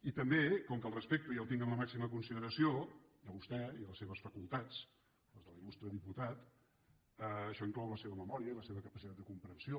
i també com que el respecto i el tinc en la màxima consideració a vostè i a les seves facultats les de l’il·lustre diputat això inclou la seva memòria i la seva capacitat de comprensió